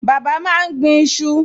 Bàbá máa ń gbin iṣu